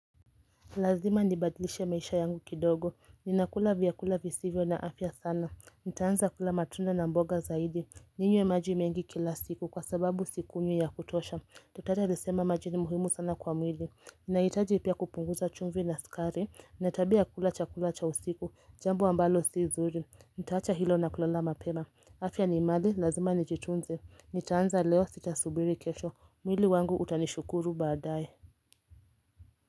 Lazima nibadilishe maisha yangu kidogo, ninakula vyakula visivyo na afya sana, nitaanza kula matunda na mboga zaidi, ninywe maji mengi kila siku kwa sababu sikunywi ya kutosha, daktari alisema maji ni muhimu sana kwa mwili, ninahitaji pia kupunguza chumvi na sukari, na ya tabia kula chakula cha usiku, jambo ambalo si zuri, nitaacha hilo na kulala mapema, afya ni mali, lazima nijitunze, nitaanza leo sitasubiri kesho, mwili wangu utanishukuru baadaye.